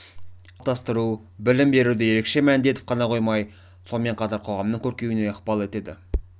мұндай қоғамды қалыптастыру білім беруді ерекше мәнді етіп ғана қоймай сонымен қатар қоғамның көркеюіне ықпал етеді